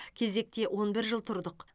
кезекте он бір жыл тұрдық